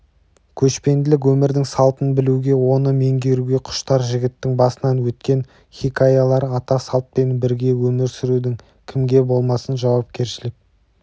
көшпенділік өмірдің салтын білуге оны меңгеруге құштар жігіттің басынан өткен хикаялары ата салтпен бірге өмір сүрудің кімге болмасын жауапкершілік